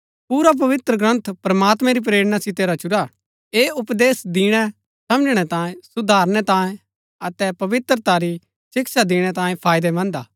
पुरा पवित्रग्रन्थ प्रमात्मैं री प्रेरणा सितै रचुरा हा ऐह उपदेश दिणै समझणै तांये सुधारनै तांये अतै पवित्रता री शिक्षा दिणै तांये फायदैमन्‍द हा